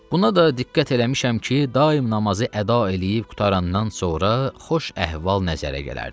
Buna da diqqət eləmişəm ki, daim namazı əda eləyib qurtarandan sonra xoş əhval nəzərə gələrdi.